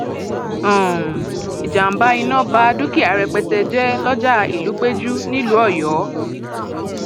um ìjàmbá iná bá dúkìá rẹpẹtẹ jẹ lọjà ìlúpẹjù nílùú um ọyọ